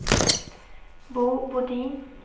Bo Bodin